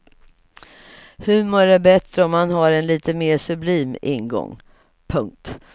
Humor är bättre om man har en lite mer sublim ingång. punkt